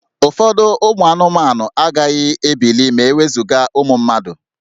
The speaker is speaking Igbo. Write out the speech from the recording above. Ụfọdụ anụmanụ agaghị ebili ma e wezuga ụmụ mmadụ